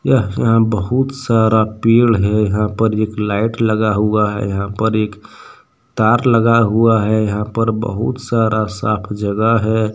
यह यहां बहुत सारा पेड़ है यहां पर एक लाइट लगा हुआ है यहां पर एक तार लगा हुआ है यहां पर बहुत सारा साफ जगह है।